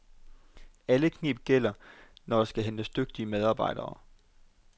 Alle kneb gælder, når der skal hentes dygtige medarbejdere.